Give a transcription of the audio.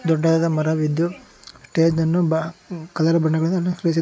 ದೊಡ್ಡದಾದ ಮರವಿದ್ದು ಸ್ಟೇಜ್ ನನ್ನು ಬಾ ಕಲರ್ ಬಣ್ಣಗಳಿಂದ ಅಲಂಕರಿಸಿದೆ.